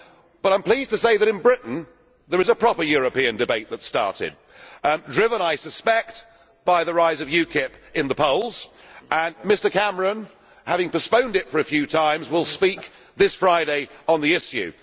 But I am pleased to say that in Britain there is a proper European debate that is starting, driven I suspect by the rise of UKIP in the polls, and Mr Cameron, having postponed it for a few times, will speak this Friday on the issue.